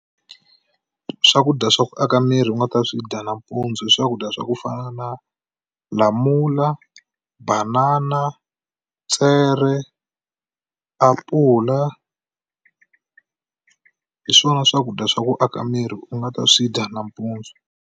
Swakudya swa ku aka miri u nga ta swi dya nampundzu i swakudya swa ku fana na lamula banana tswere apula hi swona swakudya swa ku aka miri u nga ta swi dya nampundzu.